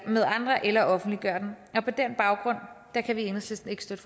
med andre eller offentliggøre dem og på den baggrund kan vi i enhedslisten ikke støtte